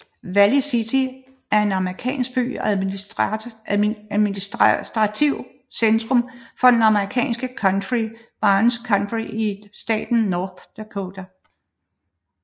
Valley City er en amerikansk by og administrativt centrum for det amerikanske county Barnes County i staten North Dakota